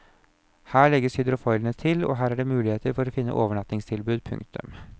Her legger hydrofoilene til og her er det muligheter å finne overnattingstilbud. punktum